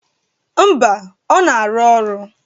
Mba, ọ na-arụ ọrụ.